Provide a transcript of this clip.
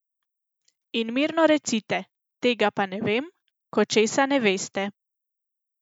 In mirno recite: 'Tega pa ne vem,' ko česa ne veste!